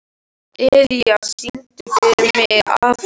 Elía, syngdu fyrir mig „Afgan“.